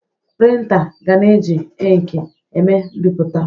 Prịntà ga-na eji inkị eme mbipụta.